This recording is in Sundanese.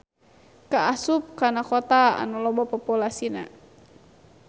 Kaasup kana kota anu loba populasina.